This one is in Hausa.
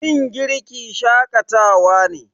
Yin girki shakatawa ne.